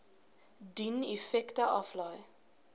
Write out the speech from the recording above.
dien effekte aflê